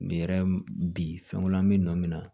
yɛrɛ bi fɛn wɛrɛ be nɔ min na